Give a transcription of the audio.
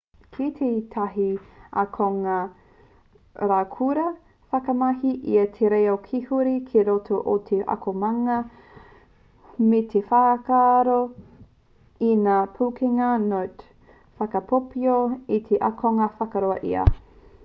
i kī tētahi akonga raukura i whakamahi ia i te reo kīrehu ki roto i te akomanga me te whaaako i ngā pūkenga note whakaipoipo ā he akonga whakahoa ia.'